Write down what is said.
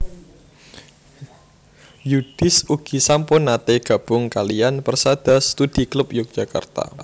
Yudhis ugi sampun nate gabung kaliyan Persada Studi Klub Yogyakarta